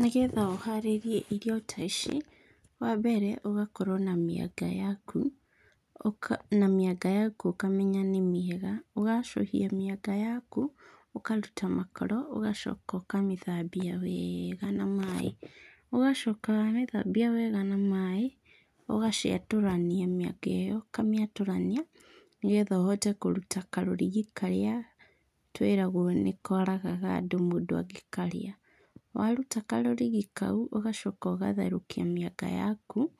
Nĩgetha ũharĩrie irio ta ici, wambere ũgakorwo na mĩanga yaku, ũka na mĩanga yaku ũkamenya nĩ mĩega. Ũgacũhia mĩanga yaku ũkaruta makoro, ũgacoka ũkamĩthambia weega na maĩ. Ũgacoka wacithambia wega na maĩ, ũgaciatũrania mĩanga ĩyo ũkamĩatũrania nĩgetha ũhote kũruta karũriga karĩa twiragwo nĩkoragaga andũ mũndũ angĩkarĩa. Waruta karũrigi kau, ũgacoka ũgatherũkia mĩanga yaku.